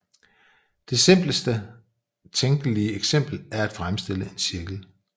Det simpleste tænkelige eksempel er at fremstille en cirkel